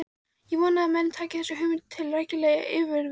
Vona ég að menn taki þessa hugmynd til rækilegrar yfirvegunar.